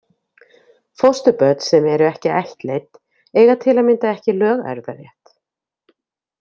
Fósturbörn sem eru ekki ættleidd eiga til að mynda ekki lögerfðarétt.